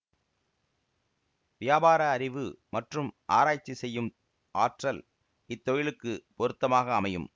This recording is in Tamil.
வியாபார அறிவு மற்றும் ஆராய்ச்சி செய்யும் ஆற்றல் இத்தொழிலுக்கு பொருத்தமாக அமையும்